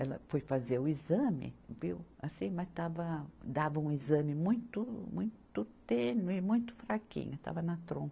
Ela foi fazer o exame, viu, assim, mas estava, dava um exame muito, muito tênue, muito fraquinho, estava na trompa.